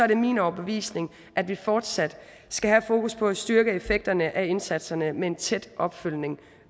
det min overbevisning at vi fortsat skal have fokus på at styrke effekterne af indsatserne med en tæt opfølgning